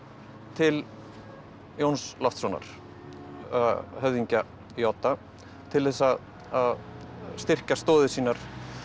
til Jóns Loftssonar höfðingja í Odda til að styrkja stoðir sínar